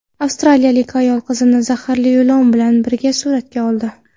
Avstraliyalik ayol qizini zaharli ilon bilan birga suratga oldi.